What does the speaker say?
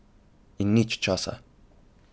In nič časa.